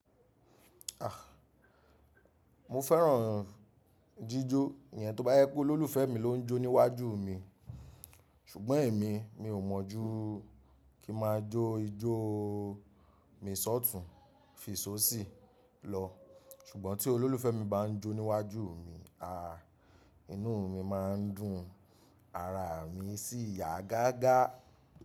A! Mo fẹ́ràn jíjó. Ènìyàn tó bá jepe olólùfẹ́ mi ló ń jó níwájú mi. Ṣùgbọ́n èmi, mi ò mọ̀ ju kí ma jó ijó mi sọ́tùn, fi sóṣì lọ. Ṣùgbọ́n tí olólùfẹ́ mi bá ń jó níwájú mi, a, inú mi má ń dùn, ara mi sì yá gágá.